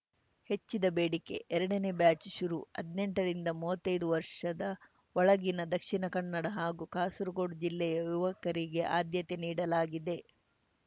ಹೆಚ್ಚಿದ ಬೇಡಿಕೆ ಎರಡನೇ ಬ್ಯಾಚ್‌ ಶುರು ಹದ್ನೆಂಟರಿಂದ ಮುವತ್ತೈದು ವರ್ಷದ ಒಳಗಿನ ದಕ್ಷಿಣ ಕನ್ನಡ ಹಾಗೂ ಕಾಸರಗೋಡು ಜಿಲ್ಲೆಯ ಯುವಕರಿಗೆ ಆದ್ಯತೆ ನೀಡಲಾಗಿದೆ